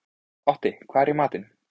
Otti, hvað er í matinn?